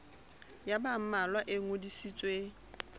ya ba mmalwa e ngodisitsweng